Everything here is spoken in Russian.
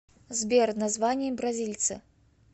сбер название бразильцы